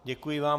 Děkuji vám.